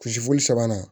Kulusi foli sabanan